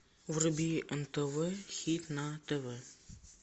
вруби нтв хит на тв